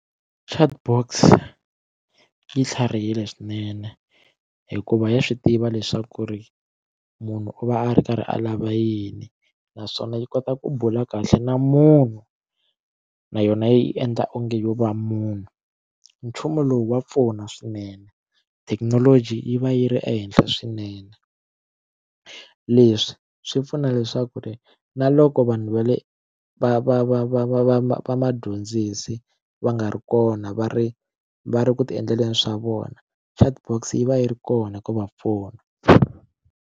Chatbox yi tlharihile swinene hikuva ya swi tiva leswaku ri munhu u va a ri karhi a lava yini naswona yi kota ku bula kahle na munhu na yona yi endla onge yo va munhu nchumu lowu wa pfuna swinene thekinoloji yi va yi ri ehenhla swinene leswi swi pfuna leswaku ri na loko vanhu va le va va va va va va va vadyondzisi va nga ri kona va ri va ri ku ti endleleni swa vona chatbox yi va yi ri kona ku va pfuna.